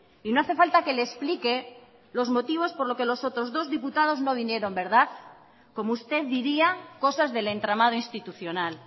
no hace falta que le explique los motivos por los que los otros dos diputados no vinieron como usted diría cosas del entramado institucional